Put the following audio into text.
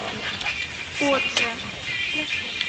кодже